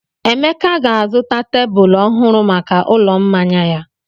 Emeka ga-azụta tebụl ọhụrụ maka ụlọ mmanya ya.